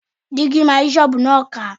Dígí máa yí ṣọ́ọ̀bù náà ká.